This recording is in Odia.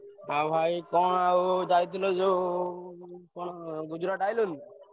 ଆଉ ଭାଇ କଣ ଆଉ ଯାଇଥିଲ ଯୋଉ କଣ ଗୁଜୁରାଟ ଆଇଲଣି?